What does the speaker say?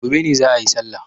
Gobe ne za'a yi sallah.